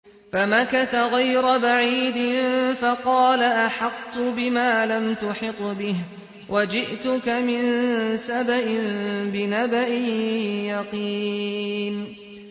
فَمَكَثَ غَيْرَ بَعِيدٍ فَقَالَ أَحَطتُ بِمَا لَمْ تُحِطْ بِهِ وَجِئْتُكَ مِن سَبَإٍ بِنَبَإٍ يَقِينٍ